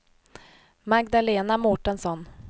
Magdalena Mårtensson